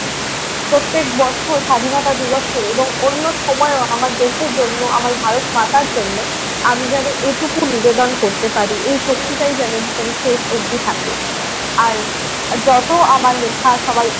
প্রত্যেক বছর স্বাধীনতা দিবসে এবং অন্য সময়ও আমার দেশের জন্য আমার ভারত মাতার জন্য আমি যেনো এটুকু নিবেদন করতে পারি। এই শক্তিটাই যেন শেষ অবধি থাকে। আর যত আমার লেখা সবাই